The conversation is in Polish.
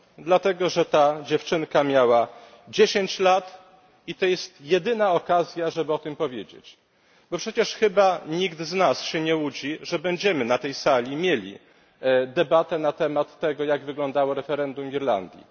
Dlatego, że ta dziewczynka miała dziesięć lat i to jest jedyna okazja, żeby o tym powiedzieć, bo przecież chyba nikt z nas się nie łudzi, że będziemy na tej sali mieli debatę na temat tego, jak wyglądało referendum w Irlandii.